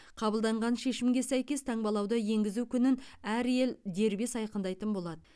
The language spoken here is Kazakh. қабылданған шешімге сәйкес таңбалауды енгізу күнін әр ел дербес айқындайтын болады